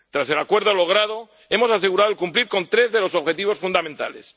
Tras el acuerdo logrado, hemos asegurado cumplir con tres de los objetivos fundamentales.